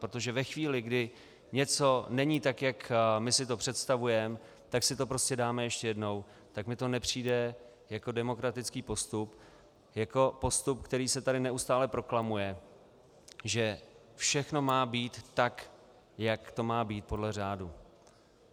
Protože ve chvíli, kdy něco není tak, jak my si to představujeme, tak si to prostě dáme ještě jednou, tak mi to nepřijde jako demokratický postup, jako postup, který se tady neustále proklamuje, že všechno má být tak, jak to má být podle řádu.